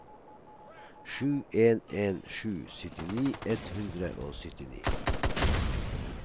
sju en en sju syttini ett hundre og syttini